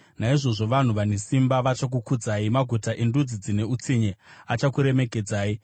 Naizvozvo vanhu vane simba vachakukudzai; maguta endudzi dzine utsinye achakuremekedzai.